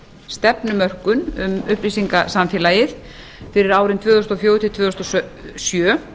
stefnumörkun um upplýsingasamfélagið fyrir árin tvö þúsund og fjögur til tvö þúsund og sjö